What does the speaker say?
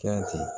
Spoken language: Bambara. Fɛn ten